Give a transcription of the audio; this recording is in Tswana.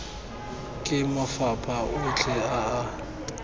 ke mafapha otlhe a a